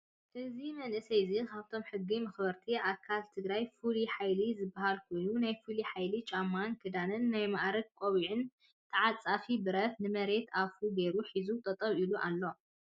እዚ መንእሰይ እዙይ ካብቶም ሕጊ መኽበርቲ ኣካላት ትግራይ ፍሉይ ሓይሊ ዝበሃል ኮይኑ ናይ ፍሉይ ሓይሊ ጫማን ክዳንን ናይ ማኣርግ ቆቢዕን ተዓፃፊ ብረት ንመሬት ኣፉ ገይሩ ሒዙ ጠጠው ኢሎ ኣሎ።